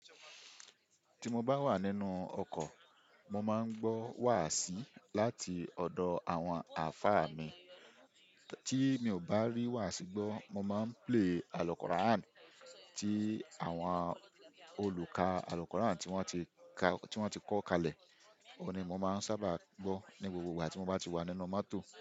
Ti mo bá wà nínú ọkọ̀, mo máa ń gbọ́ wàásí láti ọ̀dọ̀ àwọn àáfà mi. Tí mi ò bá rí wàású gbọ́, mo máa ń play àlùkọ́ràán ti àwọn olùkà àlùkọ́ràán tí wọ́n ti ka, tí wọ́n ti kọ́ kalẹ̀. Òó ni mo máa ń sábà gbọ́ ní gbogbo ìgbà tí mo bá ti wà nínú mọ́tò.